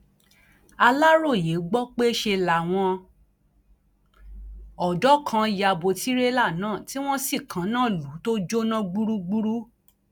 aláròye gbọ pé ṣe làwọn ọdọ kan ya bo tìrélà náà tí wọn sì kaná lù ú tó jóná gbúgbúrú